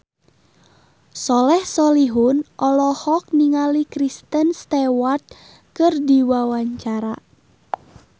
Soleh Solihun olohok ningali Kristen Stewart keur diwawancara